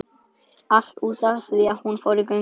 Allt út af því að hún fór í göngu